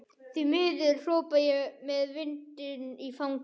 Því miður, hrópa ég með vindinn í fangið.